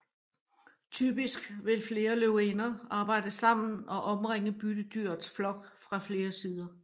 Typisk vil flere løvinder arbejde sammen og omringe byttedyrets flok fra flere sider